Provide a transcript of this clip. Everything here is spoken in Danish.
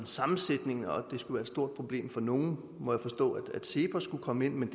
sammensætning og at det skulle være et stort problem for nogle må jeg forstå at cepos skulle komme ind men